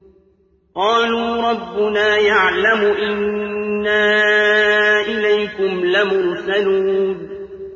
قَالُوا رَبُّنَا يَعْلَمُ إِنَّا إِلَيْكُمْ لَمُرْسَلُونَ